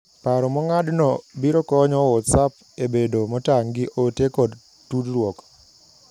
Paro mong`adno birokonyo whatsapp ebedo motang` gi ote kod tudruok.